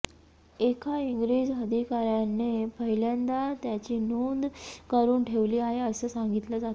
एका इंग्रज अधिकाऱ्याने पहिल्यांदा त्याची नोंद करून ठेवली आहे असं सांगितलं जातं